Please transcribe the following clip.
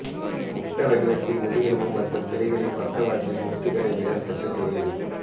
முட்டை வடிவத்தில் முதுகெலும்பு மற்றும் கிளைகளில் பக்கவாட்டு மொட்டுகளை விட சற்று பெரியது